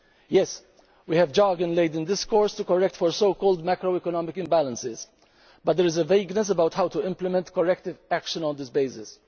Yes, we have jargon laden discourse to correct for so called macroeconomic imbalances, but there is a vagueness about how to implement corrective action on this basis.